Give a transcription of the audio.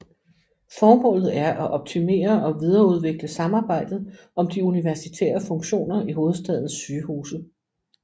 Formålet er at optimere og videreudvikle samarbejdet om de universitære funktioner i hovedstadens sygehuse